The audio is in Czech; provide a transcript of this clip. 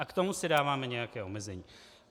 A k tomu si dáváme nějaká omezení.